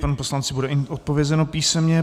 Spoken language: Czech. Panu poslanci bude odpovězeno písemně.